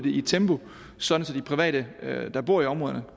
i et tempo sådan at de private der bor i områderne